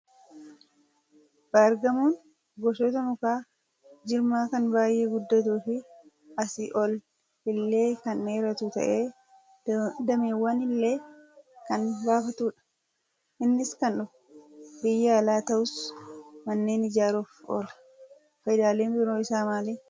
Baargamoon gosoota muka jirmaa kan baay'ee guddatuu fi asii ol illee kan dheeratu ta'ee, dameewwan illee kan baafatudha. Innis kan dhufe biyya alaa ta'us, manneen ijaaruuf oola. Fayidaaleen biroo isaa maali?